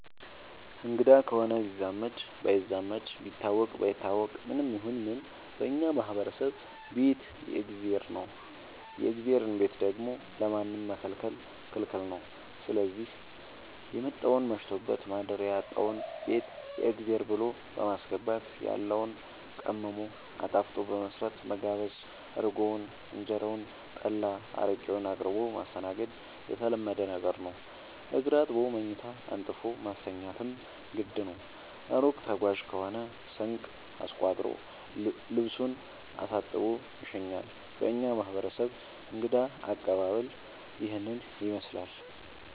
አንግዳ ከሆነ ቢዛመድም ባይዛመድም ቢታወቅም ባይታወቅም ማንም ይሁን ምንም በእኛ ማህበረሰብ ቤት የእግዜር ነው። የእግዜርን ቤት ደግሞ ለማንም መከልከል ክልክል ነው ስዚህ የመጣውን መሽቶበት ማደሪያ ያጣውን ቤት የእግዜር ብሎ በማስገባት ያለውን ቀምሞ አጣፍጦ በመስራት መጋበዝ እርጎውን እንጀራውን ጠላ አረቄውን አቅርቦ ማስተናገድ የተለመደ ነገር ነው። እግር አጥቦ መኝታ አንጥፎ ማስተኛትም ግድ ነው። እሩቅ ተጓዥ ከሆነ ስንቅ አስቋጥሮ ልሱን አሳጥቦ ይሸኛል። በእኛ ማህረሰብ እንግዳ አቀባሀል ይህንን ይመስላል።